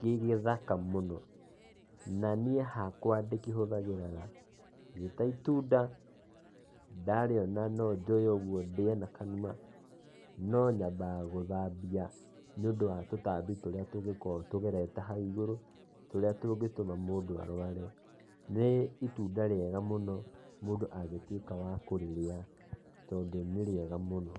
gĩgĩthaka mũno. Na niĩ hakwa ndĩkĩhũthagĩra kĩrĩ ta itunda. Ndarĩona no njoe ũguo ndĩe na kanua no nyambaga gũthambia nĩũndũ wa tũtambi tũrĩa tũngĩkorwo tũgerete hau igũrũ, tũrĩa tũngĩtũma mũndũ arware. Nĩ itunda rĩega mũno mũndũ angĩtuĩka wa kũrĩrĩa, tondũ nĩrĩega mũno.